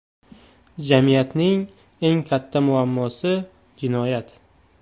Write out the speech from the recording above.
Jamiyatning eng katta muammosi – jinoyat.